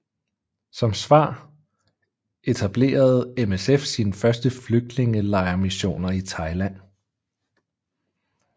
Som svar etblerede MSF sine første flygtningelejrmissioner i Thailand